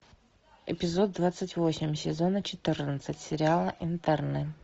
эпизод двадцать восемь сезона четырнадцать сериала интерны